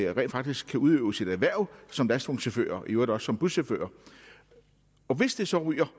rent faktisk kan udøve sit erhverv som lastvognschauffør og i øvrigt også som buschauffør og hvis det så ryger